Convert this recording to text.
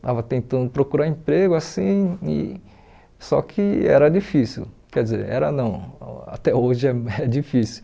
estava tentando procurar emprego, assim, e só que era difícil, quer dizer, era não, até hoje é é difícil.